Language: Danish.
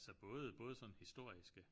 Altså både både sådan historiske